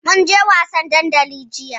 Mun je wasan dandali jiya.